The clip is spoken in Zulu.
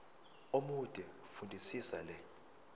omude fundisisa le